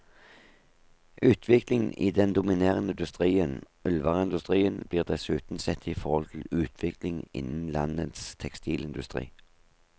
Utviklingen i den dominerende industrien, ullvareindustrien, blir dessuten sett i forhold til utviklingen innen landets tekstilindustri.